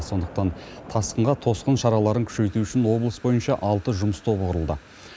сондықтан тасқынға тосқын шараларын күшейту үшін облыс бойынша алты жұмыс тобы құрылды